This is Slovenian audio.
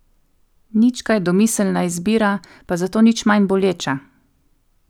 Nič kaj domiselna izbira, pa zato nič manj boleča.